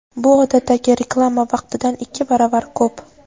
bu odatdagi reklama vaqtidan ikki baravar ko‘p.